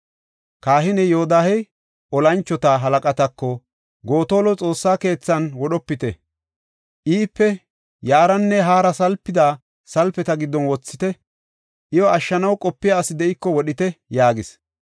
Kahiney Yoodahey tora moconatako, “Gotola Xoossa keethan wodhopite! Iipe yaaranne haara salpida salpeta giddon wothite; iyo ashshanaw qopiya asi de7iko wodhite!” yaagis.